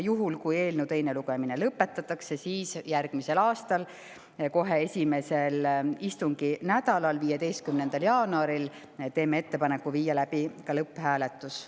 Juhul, kui eelnõu teine lugemine lõpetatakse, siis kohe järgmise aasta esimesel istunginädalal, 15. jaanuaril teeme ettepaneku viia läbi selle lõpphääletus.